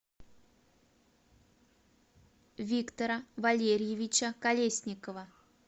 виктора валерьевича колесникова